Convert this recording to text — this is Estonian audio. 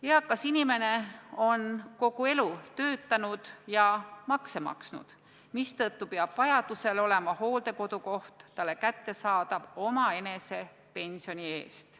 Eakas inimene on kogu elu töötanud ja makse maksnud, mistõttu peab vajadusel olema hooldekodukoht talle kättesaadav omaenese pensioni eest.